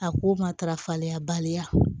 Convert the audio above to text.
A k'o matarafa baliya